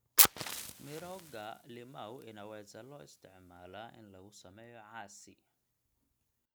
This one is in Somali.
Mirooga limau inaweza loo isticmaalaa in lagu sameeyo casi.